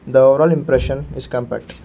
the overall impression is compact.